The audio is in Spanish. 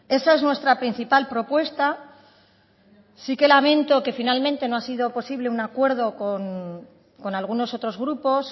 eso es nuestra principal propuesta sí que lamento que finalmente no ha sido posible un acuerdo con algunos otros grupos